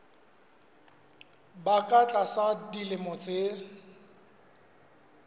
ba ka tlasa dilemo tse